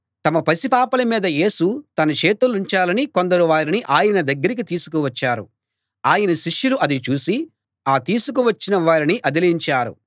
తమ పసి పాపల మీద యేసు తన చేతులుంచాలని కొందరు వారిని ఆయన దగ్గరికి తీసుకువచ్చారు ఆయన శిష్యులు అది చూసి ఆ తీసుకువచ్చిన వారిని అదిలించారు